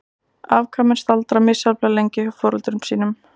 Afkvæmin staldra misjafnlega lengi við hjá foreldrum sínum.